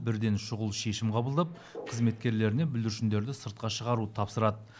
бірден шұғыл шешім қабылдап қызметкерлеріне бүлдіршіндерді сыртқа шығаруды тапсырады